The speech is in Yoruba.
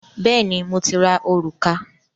Bẹ́ẹ̀ni, mo ti ra òrùka